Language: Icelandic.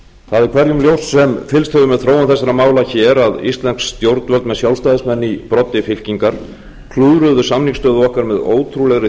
er hverjum ljóst sem fylgst hefur með þróun þessara mála hér að íslensk stjórnvöld með sjálfstæðismenn í broddi fylkingar klúðruðu samningsstöðu okkar með ótrúlegri